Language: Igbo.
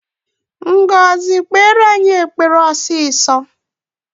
Ngọzi kpere anyị ekpere ọsịsọ!